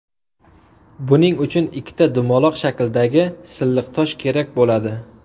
Buning uchun ikkita dumaloq shakldagi silliq tosh kerak bo‘ladi.